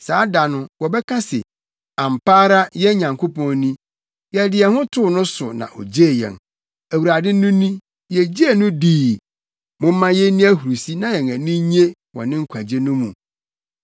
Saa da no, wɔbɛka se, “Ampa ara yɛn Nyankopɔn ni; yɛde yɛn ho too no so na ogyee yɛn; Awurade no ni, yegyee no dii; momma yenni ahurusi na yɛn ani nnye wɔ ne nkwagye no mu.”